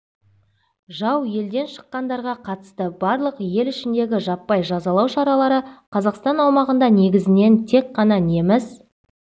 жау елден шыққандарға қатысты барлық ел ішіндегі жаппай жазалау шаралары қазақстан аумағында негізінен тек қана неміс